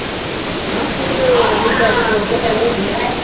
ਹਾਂ ਸਕੂਟਰੀ ਤੇ . ਤੇਲ ਭਰਾ ਲਿਆਉਂਦੀ ਏ।